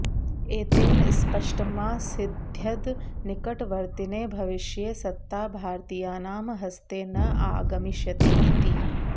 एतेन स्पष्टमासीद्यद् निकटवर्तिने भविष्ये सत्ता भारतीयानां हस्ते न आगमिष्यति इति